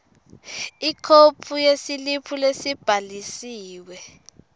ikhophi yesiliphu lesibhalisiwe